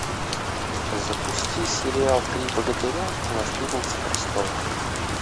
запусти сериал три богатыря и наследница престола